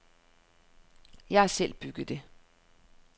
Jeg har selv bygget det.